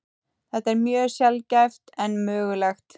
Þetta er mjög sjaldgæft en mögulegt.